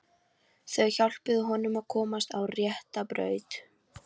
Þau hjálpuðu honum að komast á rétta braut.